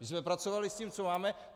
My jsme pracovali s tím, co máme.